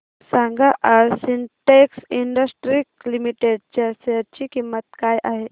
सांगा आज Syntex industries limited च्या शेअर ची किंमत काय आहे